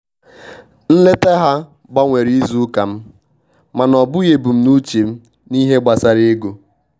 Nleta ha gbanwere atụmatụ izu ụka m, mana ọ bụghị ebumnuche m n'ihe gbasara ego.